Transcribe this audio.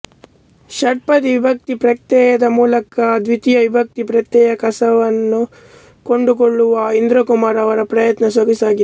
ಷಟ್ಪದಿ ವಿಭಕ್ತಿ ಪ್ರತ್ಯಯದ ಮೂಲಕ ದ್ವಿತೀಯ ವಿಭಕ್ತಿ ಪ್ರತ್ಯಯದ ಕಸುವನ್ನು ಕಂಡುಕೊಳ್ಳುವ ಇಂದ್ರಕುಮಾರ್ ಅವರ ಪ್ರಯತ್ನ ಸೊಗಸಾಗಿದೆ